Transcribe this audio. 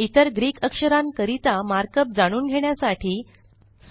इतर ग्रीक अक्षरांकरिता मार्कअप जाणून घेण्यासाठी